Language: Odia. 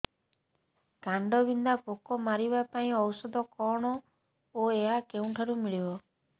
କାଣ୍ଡବିନ୍ଧା ପୋକ ମାରିବା ପାଇଁ ଔଷଧ କଣ ଓ ଏହା କେଉଁଠାରୁ ମିଳିବ